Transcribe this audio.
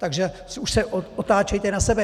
Takže už se otáčejte na sebe.